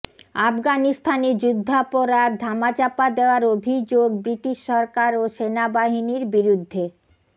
আফগানিস্তানে যুদ্ধাপরাধ ধামাচাপা দেয়ার অভিযোগ ব্রিটিশ সরকার ও সেনাবাহিনীর বিরুদ্ধে